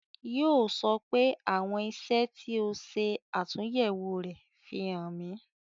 Yo sọ pé " àwọn iṣẹ́ tí ó ṣe atunyewo rẹ, fi hàn mi